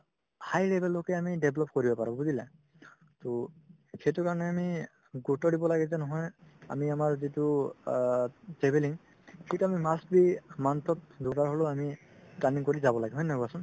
high level লৈকে আমি develop কৰিব পাৰো বুজিলা to সেইটোৰ কাৰণে আমি গুৰুত্ব দিব লাগে যে নহয় আমি আমাৰ যিটো অ travelling সেইটো আমি must be month ত দুবাৰ হ'লেও আমি planning কৰি যাব লাগে হয় নে নহয় কোৱাচোন